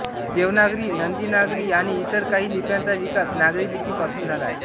देवनागरी नंदीनागरी आणि इतर काही लिप्यांचा विकास नागरी लिपी पासून झाला आहे